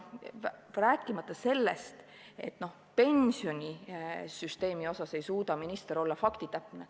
Rääkimata sellest, et pensionisüsteemi asjus ei suuda minister olla faktitäpne.